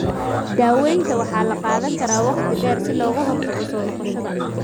Daawayntan waxa la qaadan karaa wakhti dheer si looga hortago soo noqoshada.